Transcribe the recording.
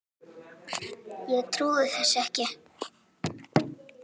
Ég trúði þessu ekki.